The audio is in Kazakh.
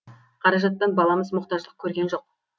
қаражаттан баламыз мұқтаждық көрген жоқ